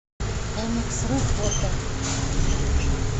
эмексру фото